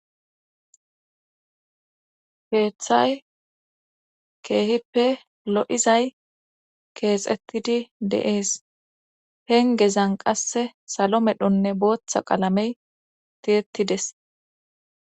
Keeththay keehippe lo'izay keexettidi de'ees pengezan qasse salo medhonne booththa qalamey tiyettides